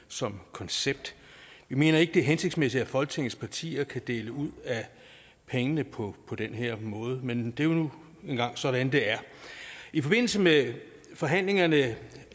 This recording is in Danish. som koncept vi mener ikke det er hensigtsmæssigt at folketingets partier kan dele ud af pengene på den her måde men det er jo nu engang sådan det er i forbindelse med forhandlingerne